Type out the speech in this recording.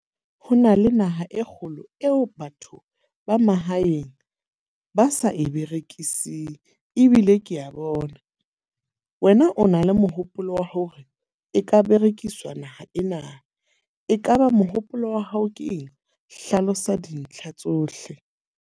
Ho na le naha e kgolo eo batho ba mahaeng ba sa e berekising. Ebile ke a bona wena o na le mohopolo wa hore e ka berekiswa naha ena. E kaba mohopolo wa hao ke eng? Hlalosa dintlha tsohle.